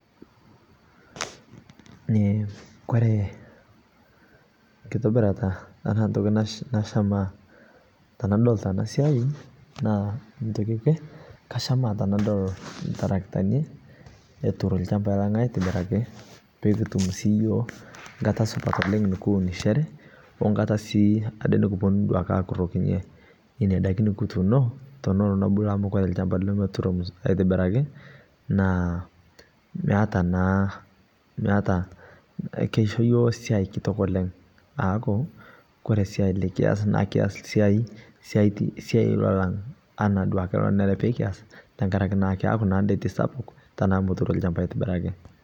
Eeh kore nkitibirata tana ntokii nashaama tanadol tana sia, naa ntokii ekwee kashamaa tanadol iltarakitani etutuurr lchambai lang' aitibiraki pii kutuum yiook nkaata supat oleng nikuunishore o nkaata sii adee nikuponuu akurokinye nenia ndaakin nikutuuono tonoloo nepuluu amu kore lchamba nemetuuro aitibiraki naa meetaa naa meeta. Keishoo yook siai kitook oleng paaku kore siai likias nikias siai naalang' duake nenere nikias tangaraki naa keaku diet sapuk tana meeturoo lchamba aitibiraki.